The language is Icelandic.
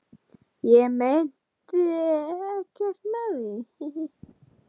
Ég meinti auðvitað ekkert með því.